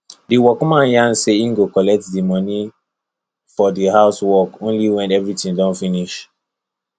the workman yarn say he go collect the money for the house work only when everything don finish